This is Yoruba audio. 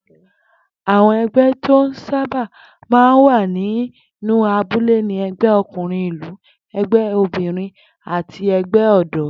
Àwo̩n e̩gbé̩ tí ó sábà máa ń wà nínú abúlé ni e̩gbé̩ o̩kùnrin ìlú, e̩gbé̩ obìnrin àti e̩gbé̩ ò̩dó̩